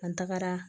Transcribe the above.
An tagara